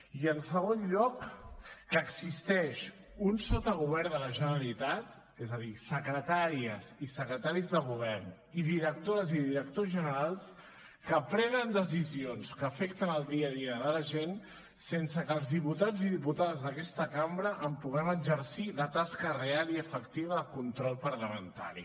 i en segon lloc que existeix un sotagovern de la generalitat és a dir secretàries i secretaris de govern i directores i directors generals que prenen decisions que afecten el dia a dia de la gent sense que els diputats i diputades d’aquesta cambra en puguem exercir la tasca real i efectiva de control parlamentari